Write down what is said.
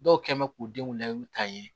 Dɔw kɛ bɛ k'u denw layidu ta ye